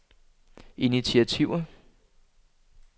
initiativer